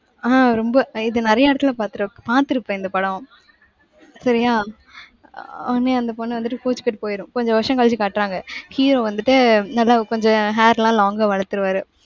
ஆஹ் ரொம்ப, இது நிறைய இடத்துல பார்த்திரு~ பாத்திருப்ப இந்த படம். சரியா? அஹ் உடனே அந்த பொண்ணு வந்துட்டு கோச்சுக்கிட்டு போயிடும். கொஞ்சம் வருஷம் கழிச்சு காட்டுறாங்க. hero வந்துட்டு, நல்லா கொஞ்சம் hair லாம், long ஆ வளத்துருவாரு.